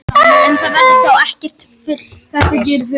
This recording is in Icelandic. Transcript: Um það verður þó ekkert fullyrt.